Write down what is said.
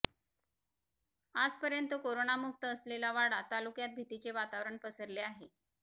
आजपर्यंत करोनापासून मुक्त असलेल्या वाडा तालुक्यात भीतीचे वातावरण पसरले आहे